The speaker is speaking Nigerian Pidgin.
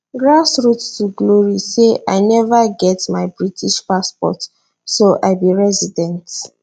grassroots to glory say i neva get my british passport so i be resident